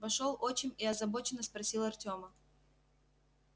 вошёл отчим и озабоченно спросил артема